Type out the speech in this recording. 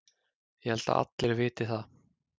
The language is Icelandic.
Ég held að allir viti það.